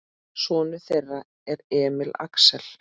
Sonur þeirra er Emil Axel.